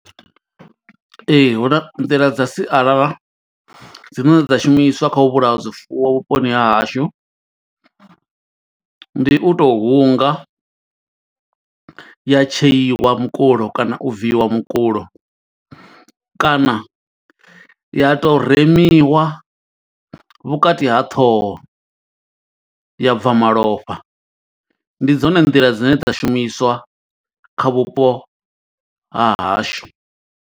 Ee hu na nḓila dza sialala dzine dza shumiswa kha u vhulaya zwifuwo vhuponi ha hashu ndi u tou hunga ya tsheiwa mukulo kana u bviwa mukulo kana ya to remiwa vhukati ha ṱhoho ya bva malofha, ndi dzone nḓila dzine dza shumiswa kha vhupo ha hashu.